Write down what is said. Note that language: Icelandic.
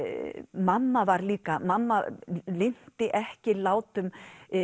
mamma var líka mamma linnti ekki látum